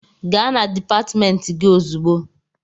Gaa na dịpatmentị gị ozugbo!